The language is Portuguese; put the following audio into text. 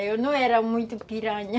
Eu não era muito piranha.